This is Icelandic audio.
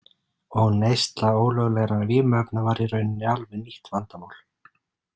Og neysla ólöglegra vímuefna var í rauninni alveg nýtt vandamál.